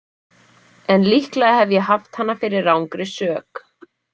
En líklega hef ég haft hana fyrir rangri sök.